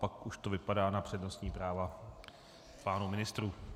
Pak už to vypadá na přednostní práva pánů ministrů.